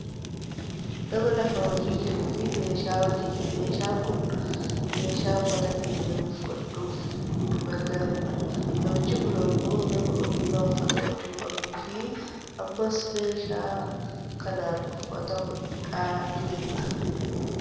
Nama lafa hojii jiruufi meeshaa hojii, meeshaan kun meeshaa uffata keenya nuuf hodhuuf nu gargaarudha. Namichi kun ammoo nama ogummaa uffata hodhuu qabuu fi ammas meeshaa kanan uffata hodhaa jirudha.